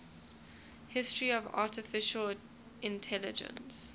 history of artificial intelligence